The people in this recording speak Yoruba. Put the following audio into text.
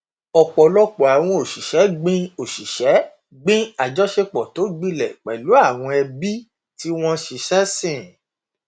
ọpọlọpọ àwọn òṣìṣẹ gbin òṣìṣẹ gbin àjọṣepọ tó gbilẹ pẹlú àwọn ẹbí tí wọn ṣiṣẹ sìn